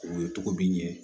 O ye togo bi ɲɛ